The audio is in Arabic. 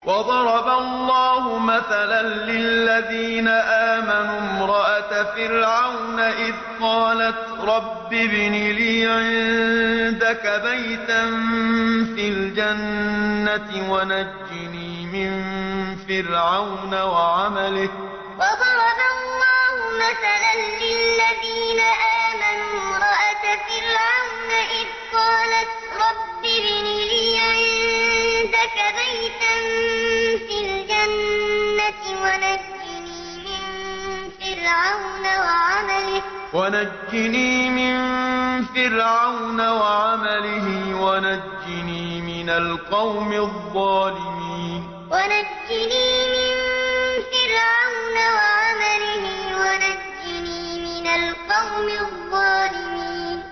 وَضَرَبَ اللَّهُ مَثَلًا لِّلَّذِينَ آمَنُوا امْرَأَتَ فِرْعَوْنَ إِذْ قَالَتْ رَبِّ ابْنِ لِي عِندَكَ بَيْتًا فِي الْجَنَّةِ وَنَجِّنِي مِن فِرْعَوْنَ وَعَمَلِهِ وَنَجِّنِي مِنَ الْقَوْمِ الظَّالِمِينَ وَضَرَبَ اللَّهُ مَثَلًا لِّلَّذِينَ آمَنُوا امْرَأَتَ فِرْعَوْنَ إِذْ قَالَتْ رَبِّ ابْنِ لِي عِندَكَ بَيْتًا فِي الْجَنَّةِ وَنَجِّنِي مِن فِرْعَوْنَ وَعَمَلِهِ وَنَجِّنِي مِنَ الْقَوْمِ الظَّالِمِينَ